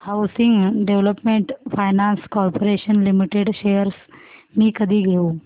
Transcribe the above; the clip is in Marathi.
housing development finance corporation limited shares मी कधी घेऊ